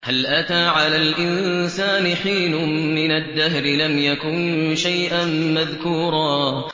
هَلْ أَتَىٰ عَلَى الْإِنسَانِ حِينٌ مِّنَ الدَّهْرِ لَمْ يَكُن شَيْئًا مَّذْكُورًا